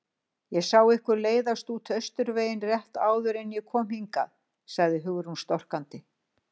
Ég sá ykkur leiðast út Austurveginn rétt áður en ég kom hingað- sagði Hugrún storkandi.